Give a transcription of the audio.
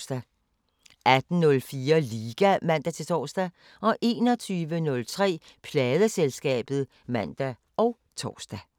18:04: Liga (man-tor) 21:03: Pladeselskabet (man og tor)